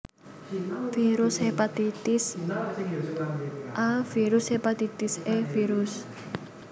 Virus Hepatitis A Virus Hepatitis E Virus